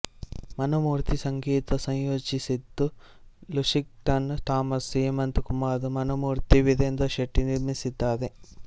ಮನೋಮೂರ್ತಿ ಸಂಗೀತ ಸಂಯೋಜಿಸಿದ್ದು Lushington Thomas Hemanth Kumar Manomurthy Veerendra Shetty ನಿರ್ಮಿಸಿದ್ದಾರೆ